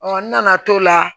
n nana t'o la